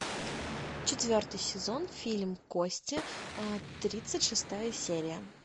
четвертый сезон фильм кости тридцать шестая серия